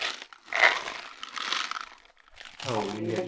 हो इंडिया